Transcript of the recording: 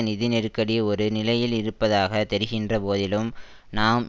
நிதி நெருக்கடி ஒரு நிலையில் இருப்பதாக தெரிகின்ற போதிலும் நாம்